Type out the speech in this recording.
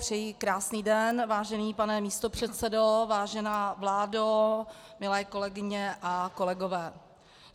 Přeji krásný den, vážený pane místopředsedo, vážená vládo, milé kolegyně a kolegové.